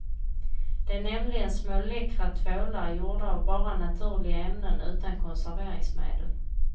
Det är nämligen små läckra tvålar gjorda av bara naturliga ämnen utan konserveringsmedel.